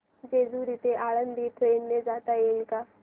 जेजूरी ते आळंदी ट्रेन ने जाता येईल का